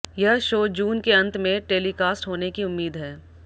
यह शो जून के अंत में टेलीकास्ट होने की उम्मीद है